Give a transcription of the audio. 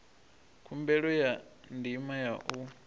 khumbelo ya ndima ya u